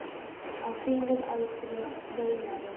Á þínum aldri, veinaði